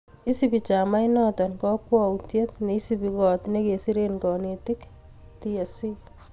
isubi chamainoto kakwoutiet ne isubi koot nekiseren kanetik(tsc)